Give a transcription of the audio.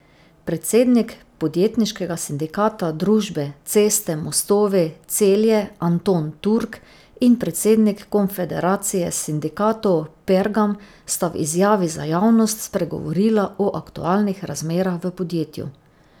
Predsednik podjetniškega sindikata družbe Ceste mostovi Celje Anton Turk in predsednik Konfederacije sindikatov Pergam sta v izjavi za javnost spregovorila o aktualnih razmerah v podjetju.